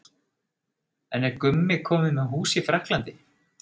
En er Gummi kominn með hús í Frakklandi?